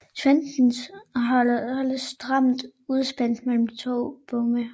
Trenden holdes stramt udspændt mellem de to bomme